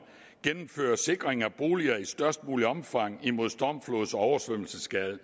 gennemfører sikring af boliger i størst muligt omfang imod stormflods og oversvømmelsesskade